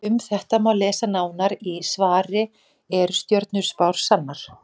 Um þetta má lesa nánar í svari Eru stjörnuspár sannar?